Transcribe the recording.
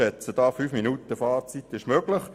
Ich schätze, fünf Minuten Fahrzeit sind möglich.